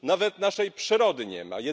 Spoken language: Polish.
Nawet naszej przyrody nie ma.